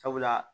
Sabula